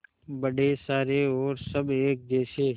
बड़े सारे और सब एक जैसे